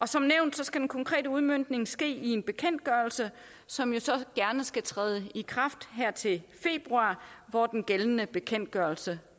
som nævnt skal den konkrete udmøntning ske i en bekendtgørelse som så gerne skal træde i kraft her til februar hvor den gældende bekendtgørelse